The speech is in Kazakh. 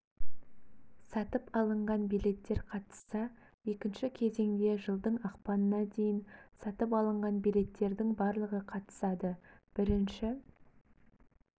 сатып алынған билеттер қатысса екінші кезеңде жылдың ақпанына дейін сатып алынған билеттердің барлығы қатысады бірінші